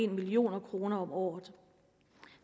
million kroner om året